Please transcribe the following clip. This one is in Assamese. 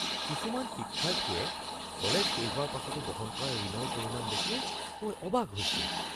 কিছুমান শিক্ষাৰ্থীয়ে কলেজ শেষ হোৱাৰ পাছতো বহন কৰা ঋণৰ পৰিমাণ দেখি মই অবাক হৈছোঁ।